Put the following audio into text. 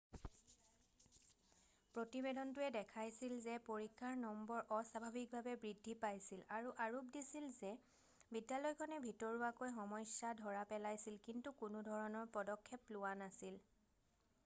প্ৰতিবেদনটোৱে দেখাইছিল যে পৰীক্ষাৰ নম্বৰ অস্বাভাৱিকভাৱে বৃদ্ধি পাইছিল আৰু আৰোপ দিছিল যে বিদ্যালয়খনে ভিতৰুৱাকৈ সমস্যা ধৰা পেলাইছিল কিন্তু কোনোধৰণৰ পদক্ষেপ লোৱা নাছিল